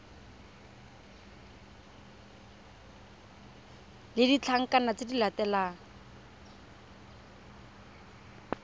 le ditlankana tse di latelang